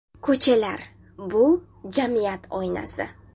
Ko‘chalar, bu – jamiyat oynasi.